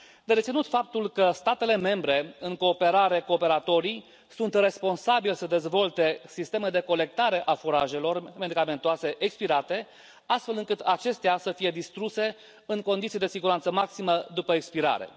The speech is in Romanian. De reținut faptul că statele membre în cooperare cu operatorii sunt responsabile să dezvolte sisteme de colectare a furajelor medicamentoase expirate, astfel încât acestea să fie distruse în condiții de siguranță maximă după expirare.